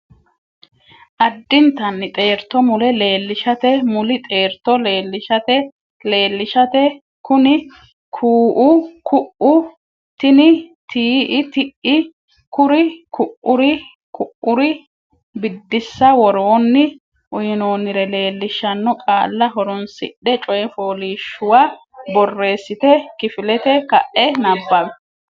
Addintanni xeerto Mule leellishate Muli xeerto leellishate leellishate kuni kuu”u ku’u tini tii”i ti’i kuri ku”uri ku’uri Biddissa Woroonni uynoonnire leellishaano qaalla horonsidhe coy fooliishshuwa borreessite kifilete ka’e nabbawi.